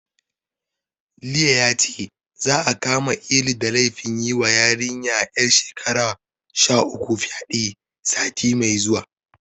Liye yace, za'a kama Ilu da laifin yiwa yarinya ƴar shekara sha uku fyaɗe, sati mai zuwa.